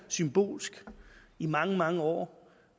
symbolsk i mange mange år